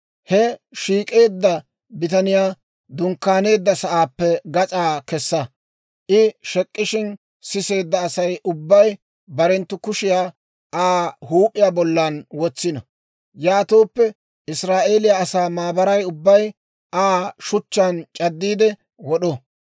«He shek'k'eedda bitaniyaa dunkkaaneedda sa'aappe gas'aa kessa; I shek'ishshin siseedda Asay ubbay barenttu kushiyaa Aa huup'iyaa bollan wotsino; yaatooppe Israa'eeliyaa asaa maabaray ubbay Aa shuchchaan c'addiide wod'o.